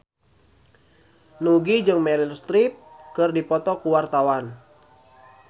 Nugie jeung Meryl Streep keur dipoto ku wartawan